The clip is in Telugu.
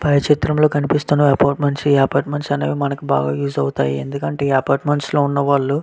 పై చిత్రం లొ కనిపెస్తునది అప్పొఇత్మెన్త లొ మనకు బాగా ఉస్ ఆవ్తే ఇక్కడ మనకు ఆడుకు అంటే అప్పర్త్మేన్త్స్ --